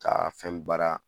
Ka fɛn baara